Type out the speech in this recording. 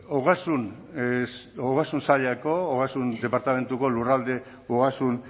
ogasun saileko ogasun departamentuko lurralde ogasun